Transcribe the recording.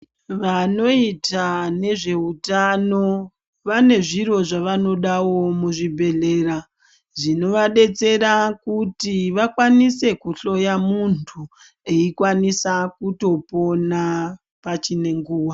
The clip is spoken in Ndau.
Vanoita nezveutano, vane zviro zvavanodawo muzvibhedhlera, zvinovadetsera kuti vakwanise kuhloya muntu eikwanisa kutopona pachine nguva.